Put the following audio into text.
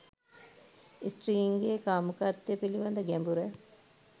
ස්ත්‍රීන්ගේ කාමුකත්වය පිළිබඳ ගැඹුර